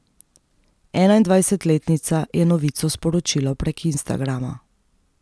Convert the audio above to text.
Enaindvajsetletnica je novico sporočila prek instagrama.